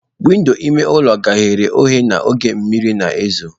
Windo ime ụlọ ghere oghe n'oge mmiri na ezo.